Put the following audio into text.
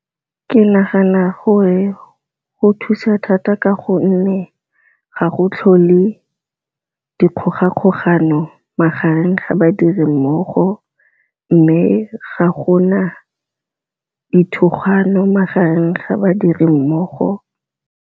Ke nagana gore go thusa thata ka gonne ga go tlhole dikgogakgogano magareng ga badirimmogo, mme ga gona dithogano magareng ga badirimmogo.